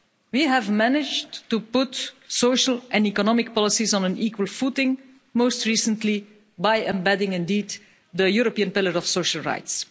We have managed to put social and economic policies on an equal footing, most recently by embedding the European Pillar of Social Rights.